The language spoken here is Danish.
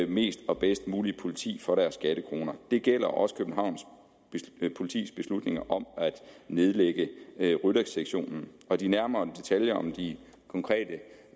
mest og bedst muligt politi for deres skattekroner det gælder også københavns politis beslutning om at nedlægge ryttersektionen de nærmere detaljer om de konkrete